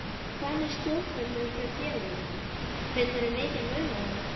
Hvað með stjórnendur hjá félögunum, finnurðu mikinn mun á þeim?